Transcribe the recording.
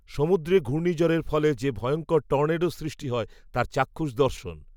সমুদ্রে ঘূর্ণীঝড়ের ফলে যে ভয়ঙ্কর টর্নেডোর সৃষ্টি হয় তার চাক্ষুষ দর্শন